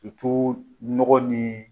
k'i n nɔgɔ ni